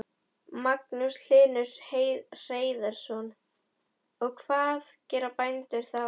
Magnús Hlynur Hreiðarsson: Og hvað gera bændur þá?